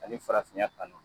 Ani farafinya kanu